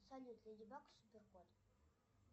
салют леди баг и супер кот